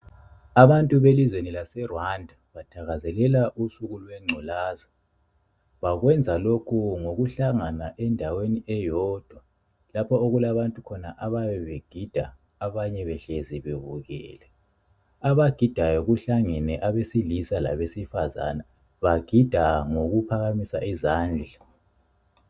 Abantu belizweni laseRwanda bathakazelela usuku lwengculaza. Bakwenza lokhu ngokuhlangana endaweni eyodwa lapho okulabantu khona abayabe begida abanye behlezi bebukele. Abagidayo kuhlangene abesilisa labesifazana . Bagida ngokuphakamisa izandla.